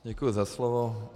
Děkuji za slovo.